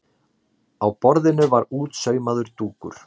Á borðinu var útsaumaður dúkur.